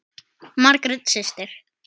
Margrét systir.